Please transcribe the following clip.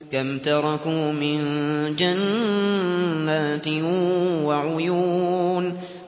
كَمْ تَرَكُوا مِن جَنَّاتٍ وَعُيُونٍ